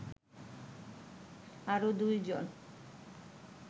আরো দুই জন